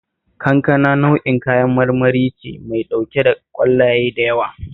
Kankana nau'in kayan marmari ce mai ɗauke da ƙwallaye da yawa